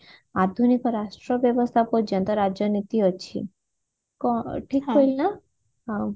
ଆଧୁନିକ ରାଷ୍ଟ୍ର ବ୍ୟବସ୍ତା ପର୍ଯ୍ୟନ୍ତ ରାଜନୀତି ଅଛି କଣ ଠିକ କହିଲି ନା ହଁ